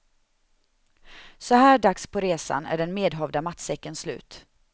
Så här dags på resan är den medhavda matsäcken slut.